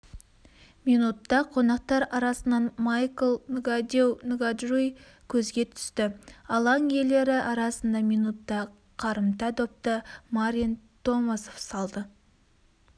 минутта қонақтар арасынан майкл нгадеу-нгаджуи көзге түсті алаң иелері арасында минутта қарымта допты марин томасов салды